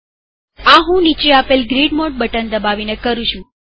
આ હું નીચે આપેલ ગ્રીડ મોડ બટન દબાવીને કરું છું